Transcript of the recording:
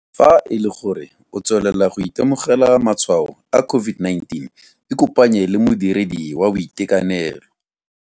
Fa e le gore o tswelela go itemogela matshwao a COVID-19 ikopanye le modiredi wa boitekanelo.